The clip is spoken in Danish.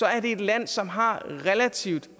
at det er et land som har relativt